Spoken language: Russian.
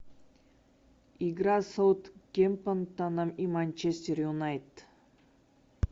игра саутгемптоном и манчестер юнайтед